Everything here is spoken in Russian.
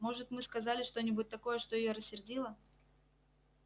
может мы сказали что-нибудь такое что её рассердило